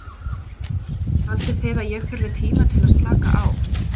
Haldið þið að ég þurfi tíma til að slaka á?